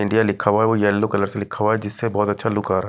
India लिखा हुआ है वो येलो कलर से लिखा हुआ है जिससे बहुत अच्छा लुक आ रहा है।